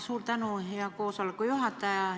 Suur tänu, hea koosoleku juhataja!